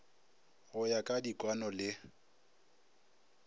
go ya ka dikwaano le